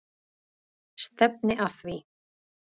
Stefni að því.